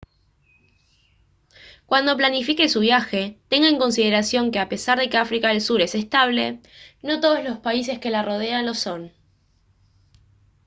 cuando planifique su viaje tenga en consideración que a pesar de que áfrica del sur es estable no todos los países que la rodean lo son